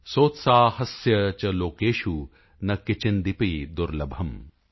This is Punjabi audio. ਸੋਤਸਾਹਸਯ ਚ ਲੋਕੇਸ਼ੁ ਨ ਕਿੰਚੀਦਪੀ ਦੁਰਲੱਭਮ